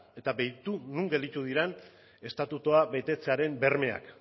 eta begira non gelditu diren estatutua betetzearen bermeak